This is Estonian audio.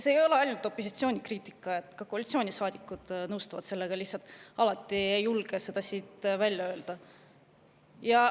See ei ole ainult opositsiooni kriitika, ka koalitsioonisaadikud nõustuvad sellega, nad lihtsalt ei julge alati seda siit välja öelda.